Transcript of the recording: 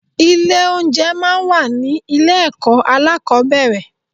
Ilé oúnjẹ máa ń wà ní ilé ẹ̀kọ́ alákọ̀ọ́bẹ̀rẹ̀.